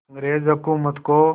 अंग्रेज़ हुकूमत को